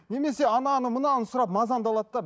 немесе ананы мынаны сұрап мазаңды алады